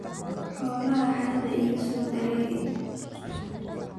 Xolaha haradha ikasodarerix.